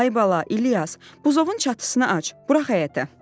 Ay bala, İlyas, buzovun çatısını aç, burax həyətə.